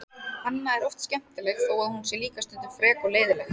Anna er oft skemmtileg þó að hún sé líka stundum frek og leiðinleg.